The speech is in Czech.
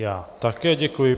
Já také děkuji.